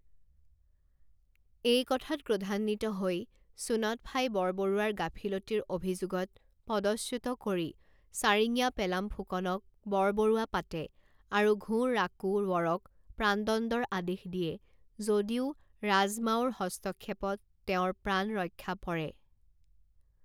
এই কথাত ক্ৰোধান্বিত হৈ চুন্যৎফাই বৰবৰুৱাৰ গাফিলতিৰ অভিযোগত পদচ্যুত কৰি চাৰিঙীয়া পেলাম ফুকনক বৰবৰুৱা পাতে আৰু ঘোঁ ৰাকোঁ ৱৰক প্ৰাণদণ্ডৰ আদেশ দিয়ে যদিও ৰাজমাওৰ হস্তক্ষেপত তেওঁৰ প্ৰাণ ৰক্ষা পৰে।